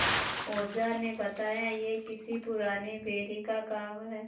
ओझा ने बताया यह किसी पुराने बैरी का काम है